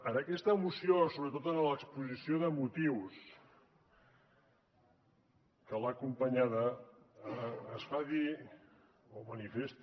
en aquesta moció sobretot en l’exposició de motius que l’ha acompanyada es fa dir o manifesta